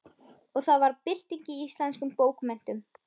Og það varð bylting í íslenskum bókmenntum.